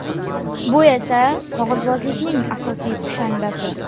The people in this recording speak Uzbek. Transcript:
Bu esa qog‘ozbozlikning asosiy kushandasi.